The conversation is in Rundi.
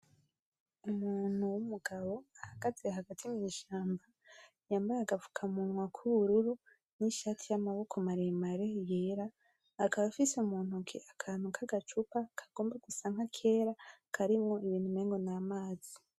Umuntu w'umugabo ahagaze hagati mw'ishamba, yambaye agapfukamunwa k'ubururu, n'ishati y'amaboko maremare yera, akababa afise mu ntoke akantu k'agacupa kagomba gusa nk'akera, karimwo ibintu umengo n'amazi.